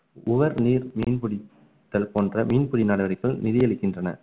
உவர் நீர் மீன்பிடித்தல் போன்ற மீன்பிடி நடவடிக்கைகள் நிதி அளிக்கின்றன